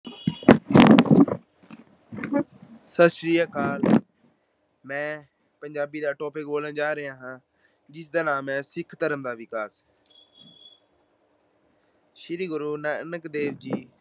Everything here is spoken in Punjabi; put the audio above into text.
ਸਤਿ ਸ੍ਰੀ ਅਕਾਲ। ਮੈਂ ਪੰਜਾਬੀ ਦਾ topic ਬੋਲਣ ਜਾ ਰਿਹਾ ਹਾਂ ਜਿਸ ਦਾ ਨਾਮ ਹੈ ਸਿੱਖ ਧਰਮ ਦਾ ਵਿਕਾਸ। ਸ੍ਰੀ ਗੁਰੂ ਨਾਨਕ ਦੇਵ ਜੀ